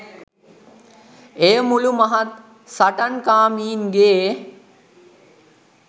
එය මුළු මහත් සටන් කාමීන්ගේ